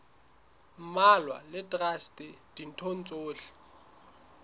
mmalwa le traste ditho tsohle